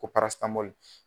Ko